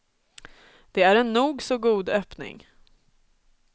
Det är en nog så god öppning.